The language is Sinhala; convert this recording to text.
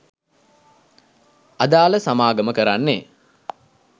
අදාළ සමාගම කරන්නේ